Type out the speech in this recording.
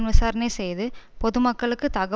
பொதுமக்களுக்கு தகவல் தரும் பத்திரிகை